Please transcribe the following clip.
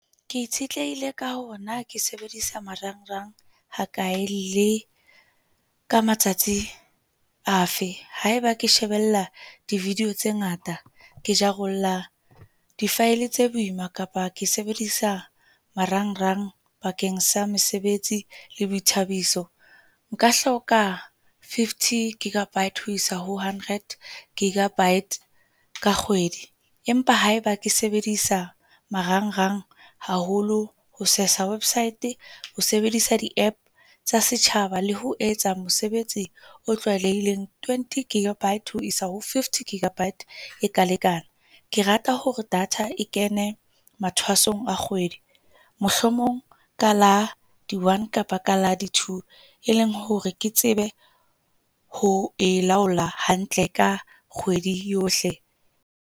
Ke itshetlehile ka hore na ke sebedisa marangrang hakae, le ka matsatsi a fe haeba ke shebella di-video tse ngata ke jarollla di-file tse boima kapa ke sebedisa marangrang bakeng sa mesebetsi le boithabiso. Nka hloka fifty gigabyte ho isa ho hundred gigabyte ka kgwedi, empa haeba ke sebedisa marangrang haholo ho sesa website ho sebedisa di-App tsa setjhaba le ho etsa mosebetsi o tlwaelehileng. Twenty gigabyte ho isa ho fifty gigabyte e ka lekana. Ke rata hore data e kene mathwasong a kgwedi, mohlomong ka la di one kapa ka la di twlo, e leng hore ke tsebe ho e laola hantle ka kgwedi yohle.